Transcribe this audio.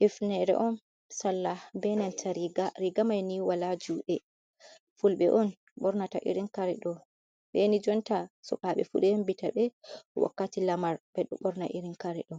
Hifneere on, sallah beenanta riiga, riiga mai ni walaa juuɗe. Fulɓe on ɓornata irin kare ɗo. Saini jotta sukaaɓe fuu ɗo yembitaɓbe wakkati lamar ɓe ɗo ɓorna irin kare ɗo.